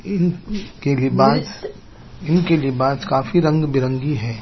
इन की रिबाज इनकी रिबाज काफी रंग बी रंगी है।